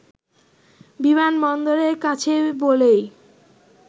বিমানবন্দরের কাছে বলেই